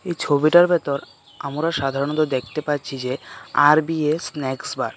এই ছবিটার ভেতর আমরা সাধারণত দেখতে পাচ্ছি যে আর_বি_এ স্ন্যাক্স বার .